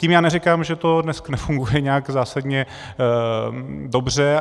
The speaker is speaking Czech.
Tím já neříkám, že to dneska nefunguje nějak zásadně dobře.